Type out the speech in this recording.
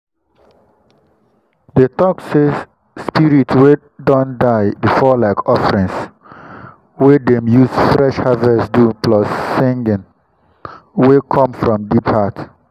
dem talk say spirit way don die before like offerings wey dem use fresh harvest do plus singing wey come from deep heart.